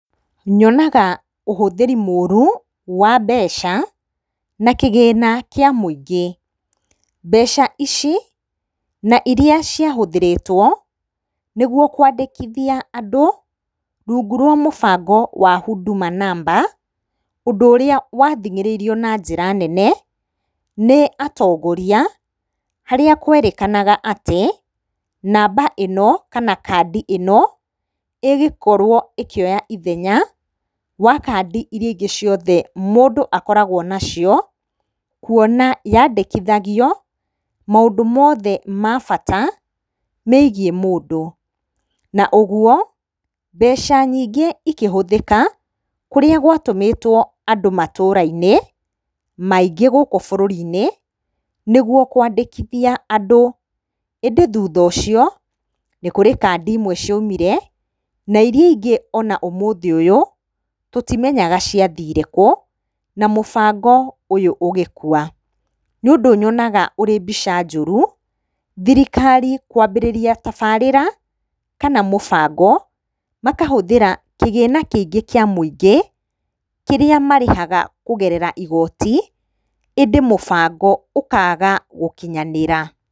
Nyonaga ũhũthĩri mũru wa mbeca na kĩgĩna kĩa mũingĩ. Mbeca ici na iria ciahũthĩrĩtwo nĩguo kwandĩkithia andũ rungu rwa mũbango wa Huduma namba ũndũ ũrĩa wathĩng'ĩrĩirio na njĩra nene nĩ atongoria. Harĩa kwerĩkanaga atĩ namba ĩno kana kandi ĩno, ĩgũkorwo ĩkĩoya ithenya wa kandi irĩa ingĩ ciothe mũndũ akoragwo nacio, kuona yandĩkithagio maũndũ mothe ma bata megiĩ mũndũ. Na ũguo mbeca nyingĩ ikĩhũthĩka kũrĩa gwatũmĩtwo andũ matũra-inĩ maingĩ gũkũ bũrũri-inĩ, nĩguo kwandĩkithia andũ. ĩndĩ thutha ũcio nĩ kũrĩ kandi imwe ciaumire na iria ingĩ ona ũmũthĩ ũyũ tũtimenyaga ciathire kũ, na mũbango ũyũ ũgĩkua. Nĩũndũ yonaga wĩ mbica njũru thirikari kwambĩrĩria tabarĩra, kana mũbango makahũthĩra kĩgĩna kĩingĩ kĩa mũingĩ, kĩrĩa marĩhaga kũgerera igoti ĩndĩ mũbango ũkaga gũkinyanĩra.